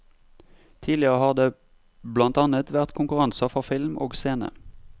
Tidligere har det blant annet vært konkurranser for film og scene.